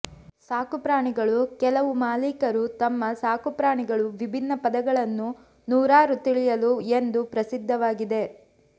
ಸಾಕುಪ್ರಾಣಿಗಳು ಕೆಲವು ಮಾಲೀಕರು ತಮ್ಮ ಸಾಕುಪ್ರಾಣಿಗಳು ವಿಭಿನ್ನ ಪದಗಳನ್ನು ನೂರಾರು ತಿಳಿಯಲು ಎಂದು ಪ್ರಸಿದ್ಧವಾಗಿದೆ